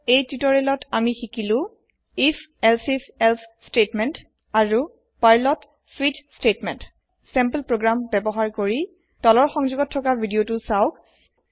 এই তিওতৰিয়েলত আমি শিকিলো if elsif এলছে বাক্য আৰু পাৰ্ল ত স্বিচ বাক্য চেম্পল প্ৰোগ্ৰাম বয়ৱহাৰ কৰি তলৰ সংযোগত থকা ভিডিও তু সাওক